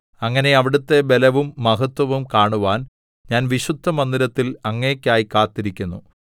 അങ്ങനെ അവിടുത്തെ ബലവും മഹത്വവും കാണുവാൻ ഞാൻ വിശുദ്ധമന്ദിരത്തിൽ അങ്ങേയ്ക്കായി കാത്തിരിക്കുന്നു